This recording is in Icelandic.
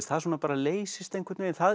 það svona bara leysist einhvern veginn